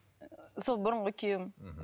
сол бұрынғы күйеуім мхм